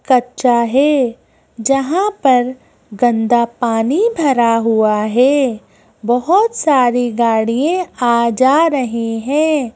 कच्चा है जहां पर गंदा पानी भरा हुआ है बहोत सारी गाड़िये आ जा रहे हैं।